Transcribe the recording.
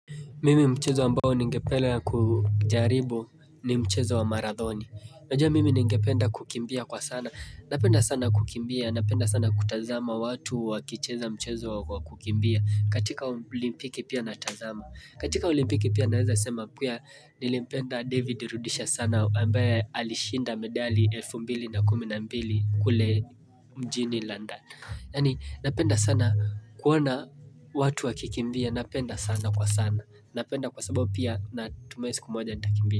Mimi mchezo ambao ningepelea kujaribu ni mchezo wa marathoni. Najua mimi ningependa kukimbia kwa sana. Napenda sana kukimbia, napenda sana kutazama watu wakicheza mchezo wa kukimbia. Katika ulimpiki pia natazama. Katika ulimpiki pia naweza sema kuya nilimpenda David Rudisha sana ambaye alishinda medali elfu mbili na kumi na mbili kule mjini London. Yaani napenda sana kuona watu wakikimbia napenda sana kwa sana Napenda kwa sababu pia natumai siku moja nitakimbia.